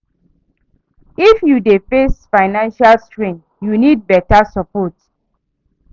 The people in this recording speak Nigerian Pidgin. If you dey face financial strain, you nid beta sopport